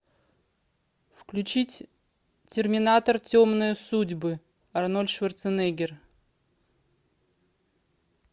включить терминатор темные судьбы арнольд шварценеггер